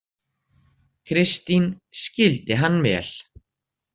Kristín skildi hann vel.